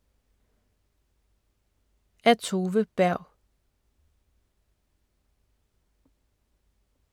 Af Tove Berg